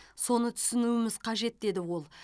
соны түсінуіміз қажет деді ол